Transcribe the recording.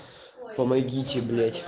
помогите блять